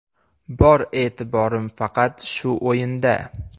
Bor e’tiborim faqat shu o‘yinda.